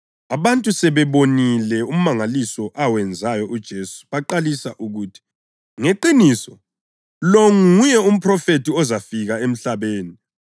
Abantu sebewubonile umangaliso awenzayo uJesu baqalisa ukuthi, “Ngeqiniso lo nguye uMphrofethi ozafika emhlabeni.”